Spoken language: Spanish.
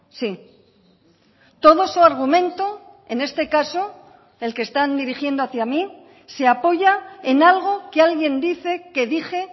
sí todo su argumento en este caso el que están dirigiendo hacia mí se apoya en algo que alguien dice que dije